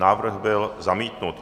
Návrh byl zamítnut.